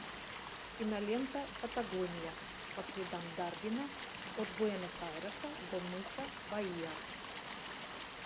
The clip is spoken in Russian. кинолента патагония по следам дарвина от буэнос айреса до мыса баия